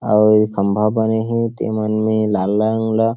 आऊ खंभा बने हे तेन मन में लाल-लाल रंग ला--